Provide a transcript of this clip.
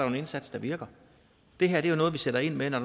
en indsats der virker det her er jo noget vi sætter ind med når